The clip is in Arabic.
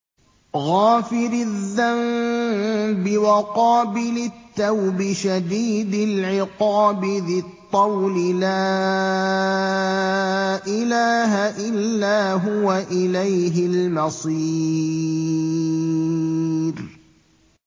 غَافِرِ الذَّنبِ وَقَابِلِ التَّوْبِ شَدِيدِ الْعِقَابِ ذِي الطَّوْلِ ۖ لَا إِلَٰهَ إِلَّا هُوَ ۖ إِلَيْهِ الْمَصِيرُ